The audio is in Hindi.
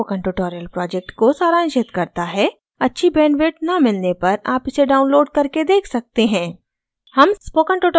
यह video spoken tutorial project को सारांशित करता है अच्छी bandwidth न मिलने पर आप इसे download कर सकते हैं